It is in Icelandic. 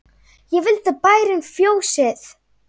Ekki vildi bærinn fjósið.